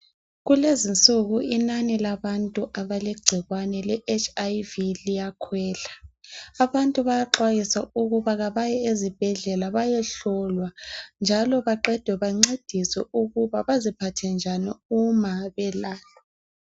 Kulezinsuku inani labantu abalegcikwane le HlV liyakhwela. Abantu bayaxwayiswa ukuba kabaye ezibhedlela bayohlolwa njalo baqeda bancediswe ukuba baziphathe njani uma belatshwa.